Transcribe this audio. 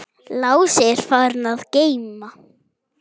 Lási er farinn að geyma.